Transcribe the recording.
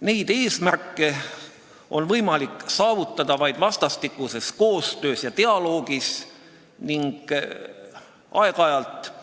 " Neid eesmärke on võimalik saavutada vaid vastastikuses koostöös ja dialoogis ning aeg-ajalt heidetav